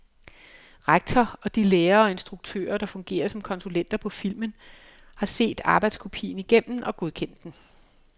Rektor og de lærere og instruktører, der fungerer som konsulenter på filmen, har set arbejdskopien igennem og godkendt den.